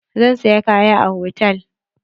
Zan saya kaya a hotal.